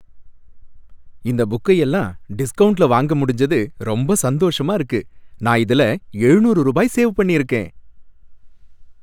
இந்த புக்கையெல்லாம் டிஸ்கவுண்ட்ல வாங்க முடிஞ்சது ரொம்ப சந்தோஷமா இருக்கு. நான் இதுல ஏழுநூறு ரூபாய் சேவ் பண்ணி இருக்கேன்.